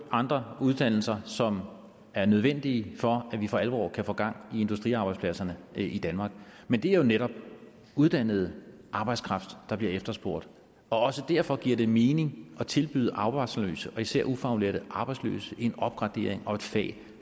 andre uddannelser som er nødvendige for at vi for alvor kan få gang i industriarbejdspladserne i danmark men det er jo netop uddannet arbejdskraft der bliver efterspurgt og også derfor giver det mening at tilbyde arbejdsløse og især ufaglærte arbejdsløse en opgradering og et fag